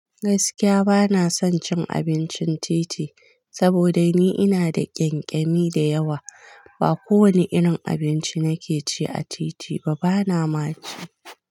Gaskiya ba na son cin abincin titi, saboda ni ina da ƙyanƙyani da yawa. Ba kowane irin abinci nake ci a titi ba, ba na ma ci.